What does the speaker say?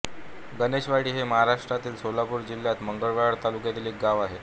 गणेशवाडी हे महाराष्ट्रातील सोलापूर जिल्ह्यातील मंगळवेढा तालुक्यातील एक गाव आहे